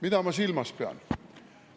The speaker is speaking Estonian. Mida ma silmas pean?